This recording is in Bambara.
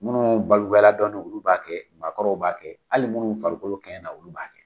Minnu balikuya dɔɔnin olu b'a kɛ, maakɔrɔw b'a kɛ, hali minnu farikolo kɛɲɛna olu b'a kɛ.